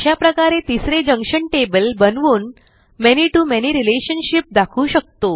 अशाप्रकारे तिसरे junction table बनवून many to मॅनी रिलेशनशिप दाखवू शकतो